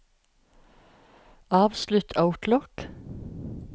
avslutt Outlook